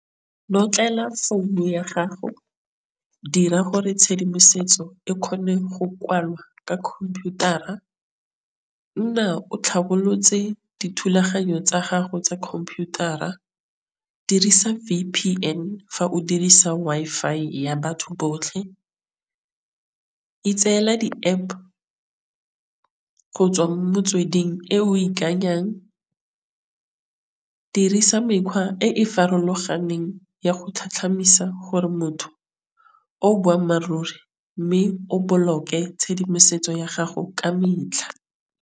Notlela founu ya gago dira gore tšhedimosetso e kgone go kwalwa ka computer-a nna o tlhabolotswe le dithulaganyo tsa gago tsa computer a dirisa V_P_N fa o dirisa Wi-Fi ya batho botlhe. Itseela di-App go tswa mo motsweding e o ikanyang. Dirisa mekgwa e farologaneng ya go tlhatlhamisa gore motho o boammaaruri mme o boloke tšhedimosetso ya gago ka metlha.